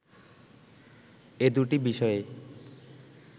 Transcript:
এ দুটি বিষয়ে